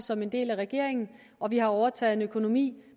som en del af regeringen og vi har overtaget en økonomi